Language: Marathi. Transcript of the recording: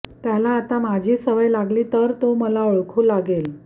त्याला आता माझी सवय लागली तर तो मला ओळखू लागेल